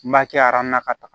N b'a kɛ na ka taa